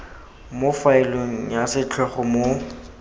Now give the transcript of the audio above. mo faeleng ya setlhogo mo